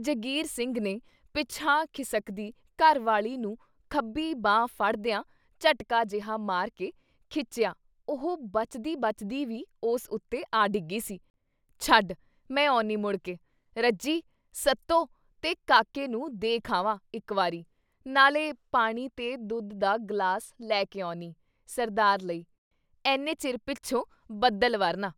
ਜੰਗੀਰ ਸਿੰਘ ਨੇ ਪਿਛਾਂਹ ਖਿਸਕਦੀ ਘਰ ਵਾਲੀ ਨੂੰ ਖੱਬੀ ਬਾਂਹ ਫੜਦਿਆਂ ਝਟਕਾ ਜਿਹਾ ਮਾਰ ਕੇ ਖਿੱਚਿਆ ਉਹ ਬਚਦੀ-ਬਚਦੀ ਵੀ ਉਸ ਉੱਤੇ ਆ ਡਿੱਗੀ ਸੀ। ਛੱਡ ! ਮੈਂ ਔਨੀ ਮੁੜਕੇ ! ਰੱਜੀ, ਸੱਤੋ ਤੇ ਕਾਕੇ ਨੂੰ ਦੇਖ ਆਵਾਂ ਇੱਕ ਵਾਰੀ, ਨਾਲੇ ਪਾਣੀ ਤੇ ਦੁੱਧ ਦਾ ਗਲਾਸ ਲੈ ਕੇ ਔਨੀ! ਸਰਦਾਰ ਲਈ, "ਐਨੇ ਚਿਰ ਪਿੱਛੋਂ ਬਦਲ ਵਰ੍ਹਨਾ!”